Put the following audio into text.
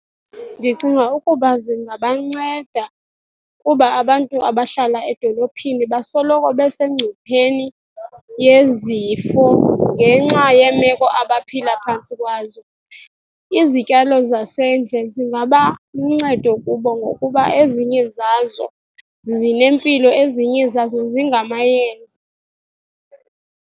Ndicinga ukuba zingabanceda kuba abantu abahlala edolophini basoloko besengcupheni yezifo ngenxa yeemeko abaphila phantsi kwazo. Izityalo zasendle zingaba luncedo kubo ngokuba ezinye zazo zinempilo, ezinye zazo zingamayeza.